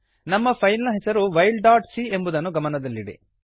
ನಮ್ಮ ಫೈಲ್ ನ ಹೆಸರು ವೈಲ್ ಡಾಟ್ ಸಿ ಎಂಬುದನ್ನು ಗಮನದಲ್ಲಿಡಿ